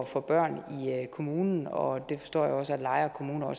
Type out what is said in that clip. for børn i kommunen og jeg forstår også at lejre kommune har